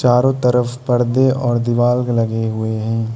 चारों तरफ पर्दे और दीवाल लगे हुए हैं।